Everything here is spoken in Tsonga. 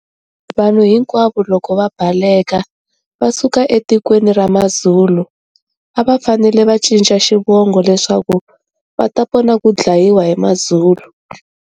Vanhu hinkwavo loko va baleka va suka etikweni ra MaZulu ava fanele va ncica xivongo leswaku vata pona ku dlayiwa hi MaZulu.